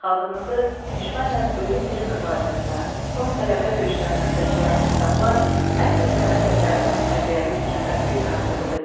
Xalqımızı düşmənlə ölüm-diri mübarizəsinə, son qələbə döyüşlərinə səsləyən bu kitablar əsl sənət əsərinin tərbiyəvi gücünü bir daha sübut edir.